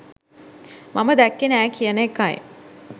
මම දැක්කේ නෑ කියන එකයි.